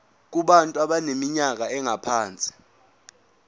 kubantu abaneminyaka engaphansi